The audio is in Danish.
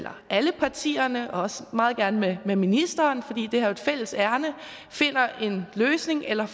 alle partierne og også meget gerne med ministeren for det er jo et fælles ærinde finder en løsning eller